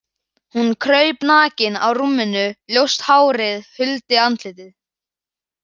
Hún kraup nakin á rúminu, ljóst hárið huldi andlitið.